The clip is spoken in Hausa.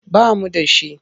Ba mu da shi.